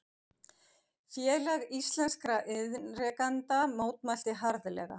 Félag íslenskra iðnrekenda mótmælti harðlega